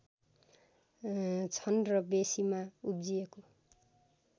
छन् र बेँसीमा उब्जिएको